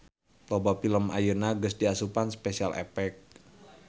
Loba film ayeuna geus diasupan Special Effect.